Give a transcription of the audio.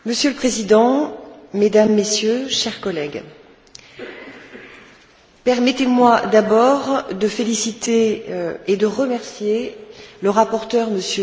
Monsieur le Président, Mesdames, Messieurs, chers collègues, permettez moi d'abord de féliciter et de remercier le rapporteur M.